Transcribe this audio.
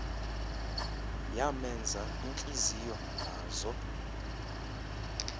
yamenza intliziyo nazo